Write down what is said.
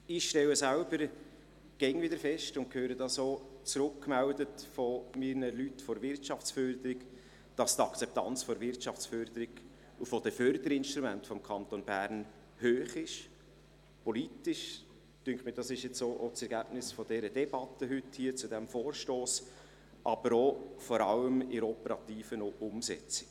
Ich stelle selber immer wieder fest und erhalte das auch von meinen Leuten von der Wirtschaftsförderung zurückgemeldet, dass die Akzeptanz der Wirtschaftsförderung und der Förderinstrumente des Kantons Bern hoch ist – politisch, das scheint mir jetzt auch das Ergebnis dieser Debatte heute hier zu diesem Vorstoss, aber vor allem auch in der operativen Umsetzung.